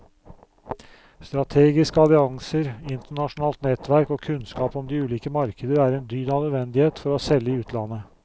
Strategiske allianser, internasjonalt nettverk og kunnskap om de ulike markeder er en dyd av nødvendighet for å selge i utlandet.